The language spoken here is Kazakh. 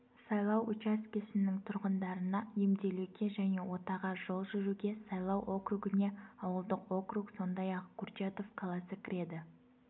сайлау учаскесінің тұрғындарына емделуге және отаға жол жүруге сайлау округіне ауылдық округ сондай-ақ курчатов қаласы кіреді